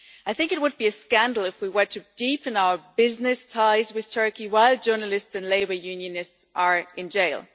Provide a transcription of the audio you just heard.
I think it would be a scandal if we were to deepen our business ties with Turkey while journalists and labour unionists are in jail.